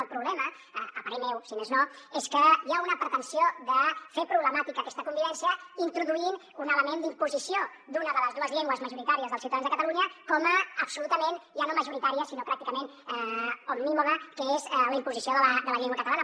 el problema a parer meu si més no és que hi ha una pretensió de fer problemàtica aquesta convivència introduint un element d’imposició d’una de les dues llengües majoritàries dels ciutadans de catalunya com a absolutament ja no majoritària sinó pràcticament omnímoda que és la imposició de la llengua catalana